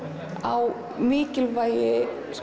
á mikilvægi